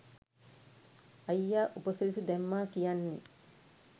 අයියා උපසිරැසි දැම්මා කියන්නෙ